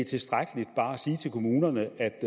tilstrækkeligt bare at sige til kommunerne at